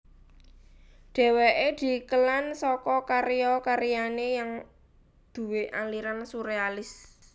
Dheweke dikelan saka karya karyane yang duwé aliran surealis